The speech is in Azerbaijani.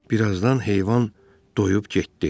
Bir azdan heyvan doyub getdi.